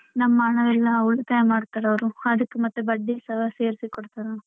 ನಮ್ಮನೇಲೆಲ್ಲ ಉಳಿತಾಯ ಮಾಡ್ತಾರೆ ಅವರು ಅದಿಕ್ ಮತ್ತ್ ಬಡ್ಡಿ ಸೇರ್ಸಿ ಕೊಡ್ತಾರೆ ಅವ್ರು.